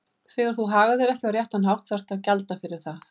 Þegar þú hagar þér ekki á réttan hátt þá þarftu að gjalda fyrir það.